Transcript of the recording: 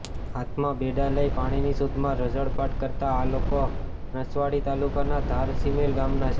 હાથમાં બેડા લઈ પાણીની શોધમાં રઝળપાટ કરતા આ લોકો નસવાડી તાલુકાના ધારસિમેલ ગામના છે